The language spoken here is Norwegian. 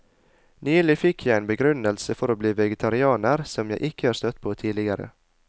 Nylig fikk jeg en begrunnelse for å bli vegetarianer som jeg ikke har støtt på tidligere.